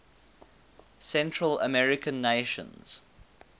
central american nations